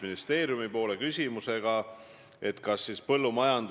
Suur tänu, hea küsija, austatud Kaja Kallas!